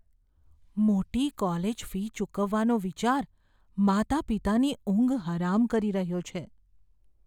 મોટી college fee ચૂકવવાનો વિચાર માતા પિતાની ઊંઘ હરામ કરી રહ્યો છે.